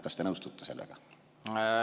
Kas te nõustute sellega?